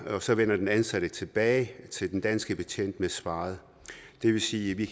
og så vender den ansatte tilbage til den danske betjent med svaret det vil sige at vi